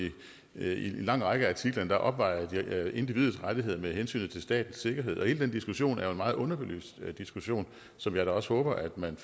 i en lang række af artiklerne opvejer individets rettigheder med hensynet til statens sikkerhed og hele den diskussion er jo en meget underbelyst diskussion som jeg da også håber man